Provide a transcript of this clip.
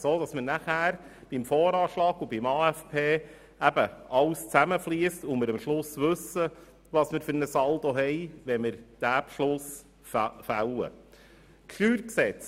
So fliesst dann beim VA und AFP alles zusammen und wir wissen, welchen Saldo wir insgesamt haben, wenn wir den Beschluss darüber fassen.